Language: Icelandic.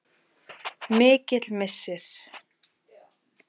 Mikill missir.